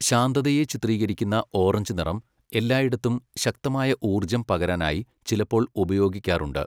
ശാന്തതയെ ചിത്രീകരിക്കുന്ന ഓറഞ്ച് നിറം, എല്ലായിടത്തും ശക്തമായ ഊർജ്ജം പകരാനായി ചിലപ്പോൾ ഉപയോഗിക്കാറുണ്ട്.